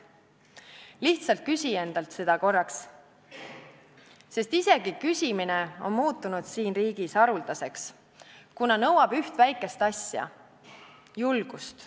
Lihtsalt küsi endalt seda korraks, sest isegi küsimine on muutunud siin riigis haruldaseks, kuna nõuab üht väikest asja: julgust.